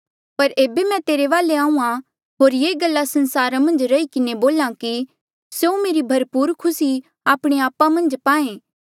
पर एेबे मैं तेरे वाले आहूँआं होर ये गल्ला संसारा मन्झ रही किन्हें बोल्हा कि स्यों मेरी भरपूर खुसी आपणे आपा मन्झ पाए